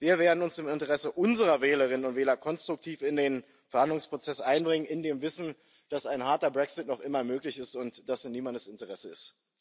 Wir werden uns im Interesse unserer Wählerinnen und Wähler konstruktiv in den Planungsprozess einbringen, in dem Wissen, dass ein harter Brexit noch immer möglich ist und das in niemandes Interesse ist.